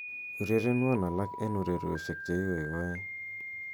urerenwon alak en ureryosiek cheigoigoe